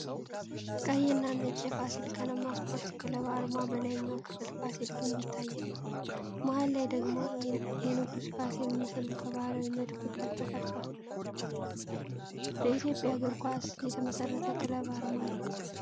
ቀይና ነጭ የፋሲል ከነማ ስፖርት ክለብ አርማ በላይኛው ክፍል ፋሲል ግንብ ይታያል። መሀል ላይ ደግሞ የንጉስ ፋሲል ምስል ከባህላዊ መድፍ ጋር ተቀርጿል። በኢትዮጵያ እግር ኳስ የተመሰረተ ክለብ አርማ ነው።